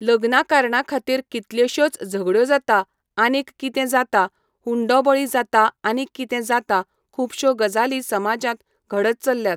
लग्ना कारणां खातीर कितल्योश्योच झगड्यो जाता आनीक कितें जाता हुंडो बळी जाता आनीक कितें जाता खुबशो गजाली समाजांत घडत चलल्यात.